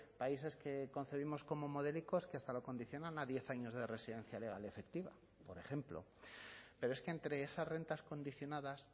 países que concebimos como modélicos que hasta lo condicionan a diez años de residencia legal y efectiva por ejemplo pero es que entre esas rentas condicionadas